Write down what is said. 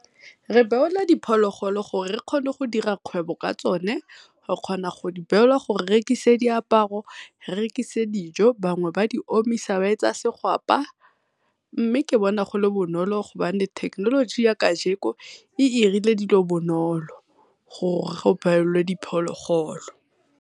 Re beola diphologolo gore re kgone go dira kgwebo ka tsone, re kgona go di beola gore re rekise diaparo, re rekise dijo. Bangwe ba di omisa ba etsa digwapa, mme ke bona go le bonolo go bane thekenoloji ya ka jeko e 'irile dilo bonolo gore go beolwe diphologolo.